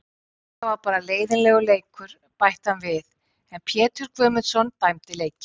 Þetta var bara leiðinlegur leikur, bætti hann við en Pétur Guðmundsson dæmdi leikinn.